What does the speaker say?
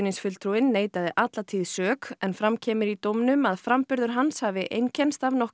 alla tíð sök en fram kemur í dómnum að framburður hans hafi einkennst af nokkru minnisleysi